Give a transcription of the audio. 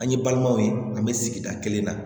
An ye balimaw ye an bɛ sigida kelen na